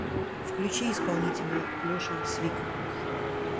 включи исполнителя леша свик